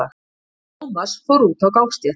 Tómas fór út á gangstétt.